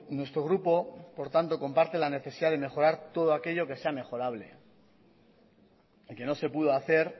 nuestro grupo por tanto comparte la necesidad de mejorar todo aquello que sea mejorable y que no se pudo hacer